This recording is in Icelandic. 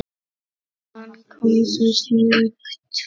Hann kom svo snöggt.